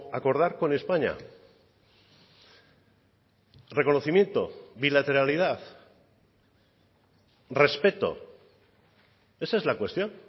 acordar con españa reconocimiento bilateralidad respeto esa es la cuestión